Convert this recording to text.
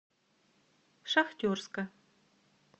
шахтерска